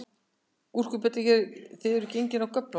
Gúrkubita, eruð þið gengin af göflunum?